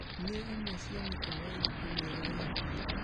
Nĩ imwe cia mĩkawa ĩrĩkũ mĩega ĩ hakuhĩ ?